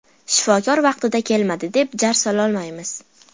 Shifokorlar vaqtida kelmadi, deb jar sololmaymiz.